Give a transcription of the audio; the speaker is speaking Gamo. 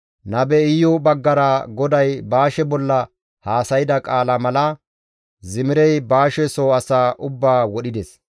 Nabe Iyu baggara GODAY Baashe bolla haasayda qaalaa mala Zimirey Baashe soo asaa ubbaa wodhides.